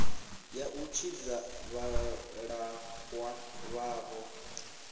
ya u tshidza vhalaxwa vhavho